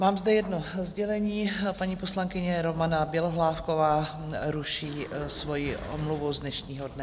Mám tu jedno sdělení: paní poslankyně Romana Bělohlávková ruší svoji omluvu z dnešního dne.